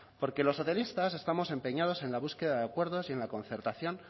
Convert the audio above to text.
porque los socialistas estamos empeñados en la búsqueda de acuerdos y en la concertación